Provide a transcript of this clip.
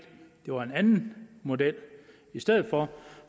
det var en anden model i stedet for